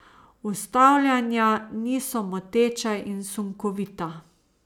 Ustavljanja niso moteča in sunkovita.